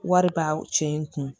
Wari b'aw cɛ in kun